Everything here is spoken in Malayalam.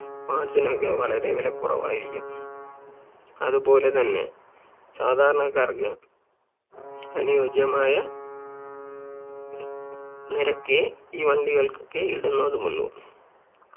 Parts നൊക്കെ വളരെ വില കുറവായിരിക്കും അതുപോലെ തന്നെ സാധാരണക്കാർക്ക് അനുയോജ്യമായ നിരക്കേ ഈ വണ്ടികൾക്കൊക്കെ ഇടുന്നതുമുള്ളൂ